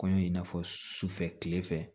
Kɔɲɔ in n'a fɔ sufɛ tilefɛ